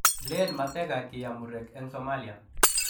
Len mateka kiam murek eng Somalia.